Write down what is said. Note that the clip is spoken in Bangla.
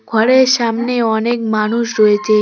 ঘরের সামনে অনেক মানুষ রয়েছে।